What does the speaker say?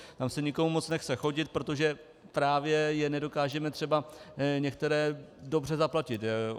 Tam se nikomu moc nechce chodit, protože právě je nedokážeme třeba některé dobře zaplatit.